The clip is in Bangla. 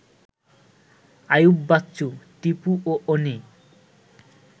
আইয়ুব বাচ্চু, টিপু ও অনি